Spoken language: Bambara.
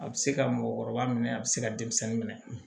A bɛ se ka mɔgɔkɔrɔba minɛ a bɛ se ka denmisɛnnin minɛ